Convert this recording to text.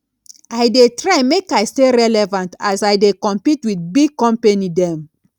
i dey try make i stay relevant as i dey compete wit big company dem